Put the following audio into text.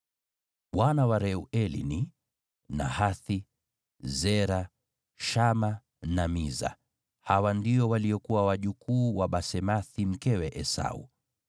Wana wa Reueli ni: Nahathi, Zera, Shama na Miza. Hawa ndio waliokuwa wajukuu wa Basemathi mkewe Esau.